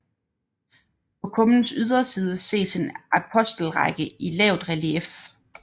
På kummens yderside ses en apostelrække i lavt relief